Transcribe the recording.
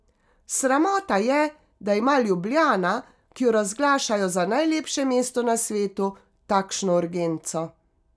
Sramota je, da ima Ljubljana, ki jo razglašajo za najlepše mesto na svetu, takšno urgenco.